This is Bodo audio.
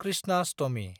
कृष्णाष्टमि